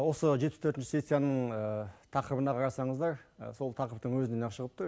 осы жетпіс төртінші сессияның тақырыбына қарасаңыздар сол тақырыптың өзінен ақ шығып тұр